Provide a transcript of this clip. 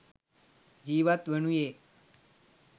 ජීවත් වනුයේ